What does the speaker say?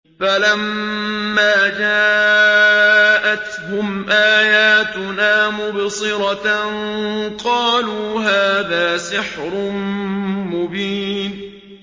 فَلَمَّا جَاءَتْهُمْ آيَاتُنَا مُبْصِرَةً قَالُوا هَٰذَا سِحْرٌ مُّبِينٌ